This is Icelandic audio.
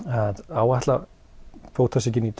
áætla bótasvikin í